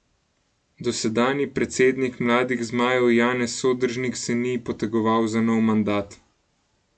Dosedanji predsednik mladih zmajev Janez Sodržnik se ni potegoval za nov mandat.